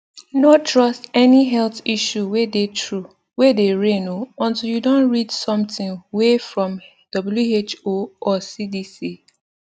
no trust any health issue way dey true way dey reign o untill you don read something way from who or cdc